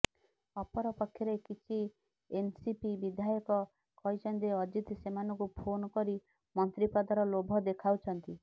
ଅପରପକ୍ଷରେ କିଛି ଏନ୍ସିପି ବିଧାୟକ କହିଛନ୍ତି ଯେ ଅଜିତ ସେମାନଙ୍କୁ ଫୋନ୍ କରି ମନ୍ତ୍ରିପଦର ଲୋଭ ଦେଖାଉଛନ୍ତି